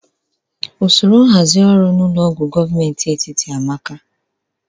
Usoro nhazi ọrụ na ụlọ ọgwọ gomenti etiti amaka